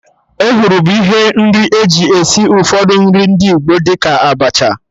Ehuru bụ ihe nri eji esi ụfọdụ nri ndị Igbo, dị ka Abacha